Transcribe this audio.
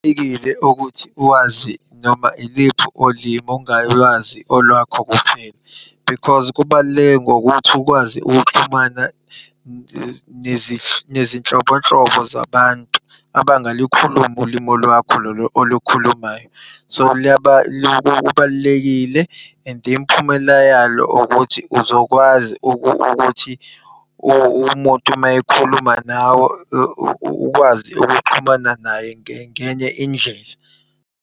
Ukuthi uwazi noma iliphi ulimi ungalwazi olwakho kuphela. Because kubaluleke ngokuthi ukwazi ukuxhumana nezinhlobonhlobo zabantu abangalikhulumi ulimu lwakho lolo olukhulumayo. So, lubalulekile and imiphumela yalo ukuthi uzokwazi ukuthi umuntu uma ekhuluma nawe ukwazi ukuxhumana naye ngenye indlela.